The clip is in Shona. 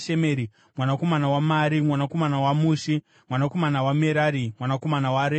mwanakomana waMari, mwanakomana waMushi, mwanakomana waMerari, mwanakomana waRevhi.